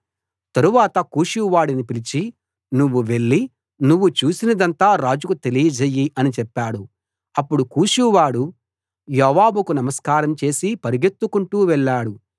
తరువాత కూషువాడిని పిలిచి నువ్వు వెళ్లి నువ్వు చూసినదంతా రాజుకు తెలియజెయ్యి అని చెప్పాడు అప్పుడు కూషువాడు యోవాబుకు నమస్కారం చేసి పరుగెత్తుకుంటూ వెళ్ళాడు